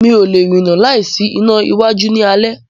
Mi o lẹ̀ rína láì sí iná iwájú ní alé.